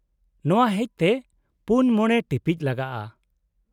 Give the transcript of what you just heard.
-ᱱᱚᱶᱟ ᱦᱮᱪ ᱛᱮ ᱔ᱼ᱕ ᱴᱤᱯᱤᱪ ᱞᱟᱜᱟᱜᱼᱟ ᱾